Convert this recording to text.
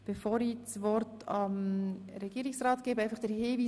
Bevor ich das Wort dem Regierungsrat übergebe, möchte ich auf Folgendes hinweisen: